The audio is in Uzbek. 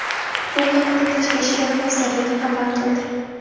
Bu haqda Tashqi ishlar vazirligi xabar qildi .